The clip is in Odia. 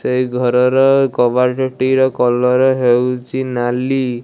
ସେଇ ଘରର କବାଟଟିର କଲର ହେଉଚି ନାଲି।